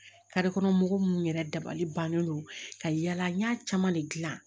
kɔnɔ mɔgɔw minnu yɛrɛ dabali bannen do ka yala n y'a caman de gilan